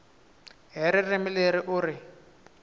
hi ririmi leri u ri